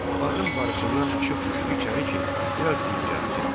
Bağın barısından aşıb düşdü içəri ki, biraz dincəlsin.